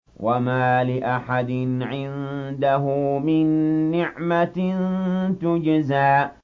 وَمَا لِأَحَدٍ عِندَهُ مِن نِّعْمَةٍ تُجْزَىٰ